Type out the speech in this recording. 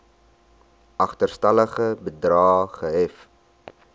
agterstallige bedrae gehef